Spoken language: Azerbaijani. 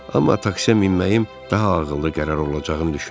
Amma taksiyə minməyim daha ağıllı qərar olacağını düşündüm.